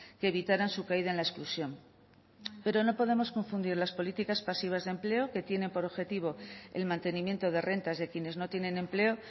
que evitaran su caída en la exclusión pero no podemos confundir las políticas pasivas de empleo que tienen por objetivo el mantenimiento de rentas de quienes no tienen empleo